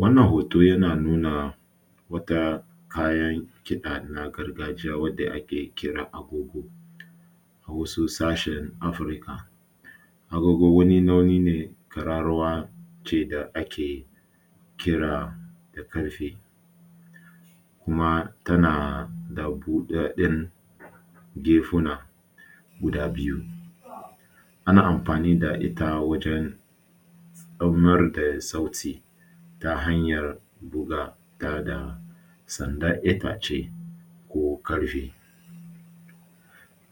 Wannan hoto yana nuna wata kayan kiɗa na gargajiya wadda ake kira agogo, wasu sashen Afirka wani nau’i ne na ƙararrawa ce da ake kira da ƙarfe kuma tana da buɗaɗɗen gefuna guda biyu. Ana amfani da ita wajen samar da sauti ta hanyar buga ta da sandar itace ko ƙarfe.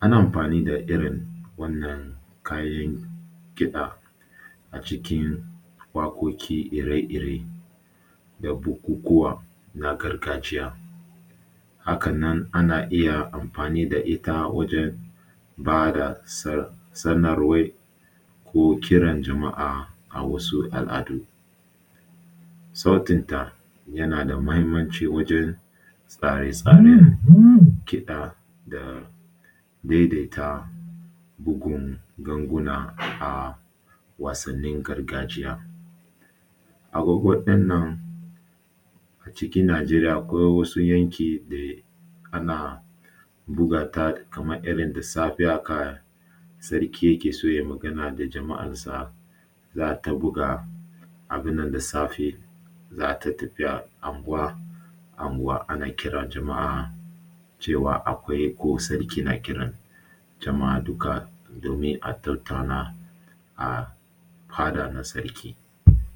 Ana amfani da irin wannan kayan kiɗa acikin waƙoƙi ire-ire da bukukuwa na gargajiya. Hakan nan ana iya amfani da ita wajen ba da sanar sanarwar ko kiran jama’a a wasu al’adu. Sautin ta yana da mahimmanci wajen tsare-tsaren kiɗa da daidaita bugun ganguna a wasannin gargajiya. Agogo ɗinnan acikin Najeriya akwai wasu yanki da ana buga ta kamar irin da safe haka Sarki yake so ya yi magana da jama’ar sa za a ta buga abun nan da safe, za a ta tafiya anguwa-anguwa cewa akwai ko Sarki na kiran jama’a duka domin a tattauna a hada na Sarki.